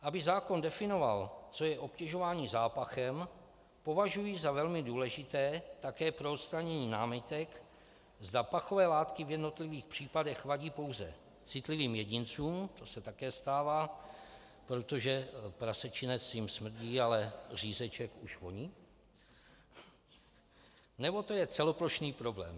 Aby zákon definoval, co je obtěžování zápachem, považuji za velmi důležité také pro odstranění námitek, zda pachové látky v jednotlivých případech vadí pouze citlivým jedincům, to se také stává, protože prasečinec jim smrdí, ale řízeček už voní, nebo to je celoplošný problém.